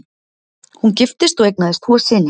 Hún giftist og eignaðist tvo syni